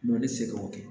Dɔn tɛ se k'o kɛ